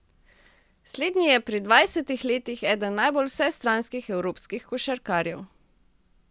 Slednji je pri dvajsetih letih eden najbolj vsestranskih evropskih košarkarjev.